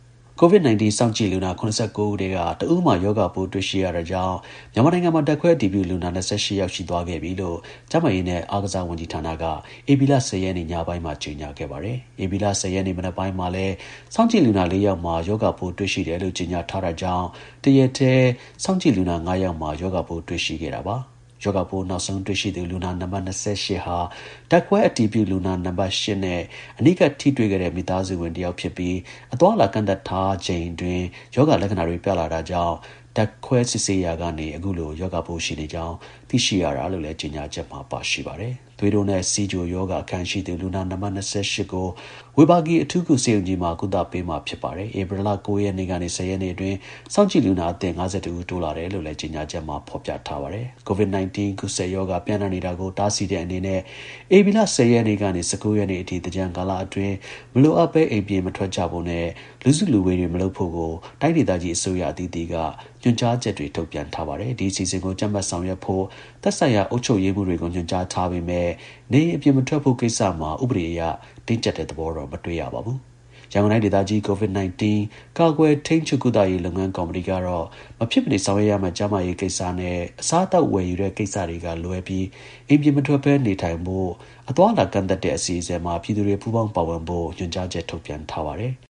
COVID 19 စောင့်ကြည့်လူနာ ၇၉ ဦးထဲက တစ်ဦးမှာ ရောဂါပိုး တွေ့ရှိရတာကြောင့် မြန်မာနိုင်ငံမှာ ဓါတ်ခွဲအတည်ပြုလူနာ ၂၈ ယောက် ရှိသွားခဲ့ပြီလို့ ကျန်းမာရေးနဲ့ အားကစား ဝန်ကြီးဌာနက ဧပြီလ ၁၀ ရက်နေ့ ညပိုင်းမှာ ကြေညာခဲ့ပါတယ်။ ဧပြီလ ၁၀ ရက်နေ့ မနက်ပိုင်းမှာလည်း စောင့်ကြည့်လူနာ ၄ ယောက်မှာ ရောဂါပိုးတွေ့ရှိတယ်လို့ ကြေညာထားတာကြောင့် တရက်တည်း စောင့်ကြည့် လူနာ ၅ ယောက်မှာ ရောဂါ ပိုးတွေ့ရှိခဲ့တာပါ။ ရောဂါပိုး နောက်ဆုံးတွေ့ရှိသူ လူနာ နံပါတ် (၂၈)ဟာ ဓါတ်ခွဲအတည်ပြု လူနာ နံပါတ် (၈)နဲ့ အနီးကပ် ထိတွေ့ခဲ့တဲ့ မိသားစုဝင်တစ်ယောက်ဖြစ်ပြီး အသွား အလာ ကန့်သတ်ထားရှိချိန်အတွင်း ရောဂါ လက္ခဏာတွေ ပြလာတာကြောင့် ဓါတ်ခွဲ စစ်ဆေးရာက အခုလို ရောဂါပိုး ရှိနေကြောင်း သိရှိရတာ လို့လည်း ကြေညာချက်မှာ ပါရှိပါတယ်။ သွေးတိုးနဲ့ ဆီးချို ရောဂါ အခံရှိသူ လူနာ နံပါတ် (၂၈)ကို ဝေဘာဂီ အထူးကု ဆေးရုံကြီးမှာ ကုသပေးမှာ ဖြစ်ပါတယ်။ ဧပြီ ၉ ရက်နေ့က ၁၀ရက်နေ့အတွင်း စောင့်ကြည့် လူနာအသစ် (၅၁) ဦး တိုးလာတယ်လို့လည်း ကြေညာချက်မှာ ဖော်ပြထားပါတယ်။ COVID 19 ကူးစက်ရောဂါ ပျံ့နှံ့နေတာကို တားဆီးတဲ့အနေနဲ့ ဧပြီလ ၁၀ ရက်က ၁၉ ရက်နေ့အထိ သင်္ကြန်ကာလအတွင်း မလိုအပ်ဘဲ အိမ်ပြင်မထွက်ကြဖို့နဲ့ လူစုလူဝေး မလုပ်ဖို့ကို တိုင်းဒေသကြီး အစိုးရ အသီးသီးက ညွှန်ကြားချက်တွေ ထုတ်ပြန်ထားပါတယ်။ ဒီ အစီအစဉ်ကို ကြပ်မတ် ဆောင်ရွက်ဖို့ သက်ဆိုင်ရာ အုပ်ချုပ်ရေးမှူးတွေကို ညွှန်ကြားထားပေမဲ့ နေအိမ် အပြင်မထွက်ဖို့ကိစ္စမှာ ဥပဒေအရ တင်းကြပ်တဲ့ သဘောတော့ မတွေ့ရပါဘူး။ ရန်ကုန်တိုင်းဒေသကြီး COVID- 19 ကာကွယ်၊ ထိန်းချုပ်၊ ကုသရေးလုပ်ငန်းကော်မတီကတော့မဖြစ်မနေဆောင်ရွက်ရမယ့် ကျန်းမာရေးကိစ္စနဲ့ အစားအသောက်ဝယ်ယူတဲ့ ကိစ္စတွေကလွဲပြီး အိမ်ပြင်မထွက်ဘဲ နေထိုင်ဖို့ အသွားအလာကန့် သတ်တဲ့ အစီအစဉ်မှာ ပြည်သူတွေပူးပေါင်းပါဝင်ဖို့ ညွှန်ကြားချက်ထုတ်ပြန်ထားပါတယ်။